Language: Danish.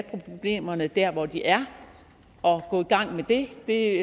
problemerne der hvor de er og gå i gang med det det